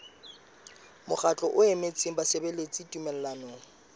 mokgatlo o emetseng basebeletsi tumellanong